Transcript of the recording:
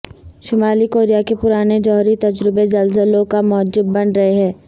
شمالی کوریا کے پرانے جوہری تجربے زلزلوں کا موجب بن رہے ہیں